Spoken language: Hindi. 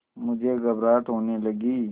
मुझे घबराहट होने लगी